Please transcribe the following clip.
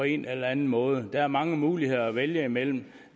en eller anden måde der er mange muligheder at vælge imellem